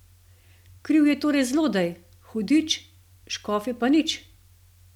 Kriv je torej zlodej, hudič, škofje pa nič?